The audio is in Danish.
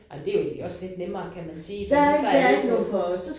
Ej men jo egentlig også lidt lettere kan man sige fordi så er alle på